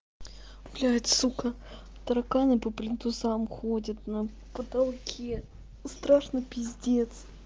блять сука тараканы по плинтусам ходят на потолке страшно пиздец